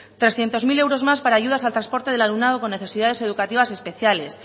trescientos mil euros más para ayudas al transporte del alumnado con necesidades educativas especiales